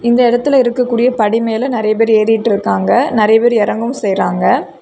இந்த இடத்துல இருக்கக்கூடிய படி மேல நிறைய பேர் ஏறிகிட்டு இருக்காங்க நிறைய பேரு இறங்கவும் செய்யறாங்க.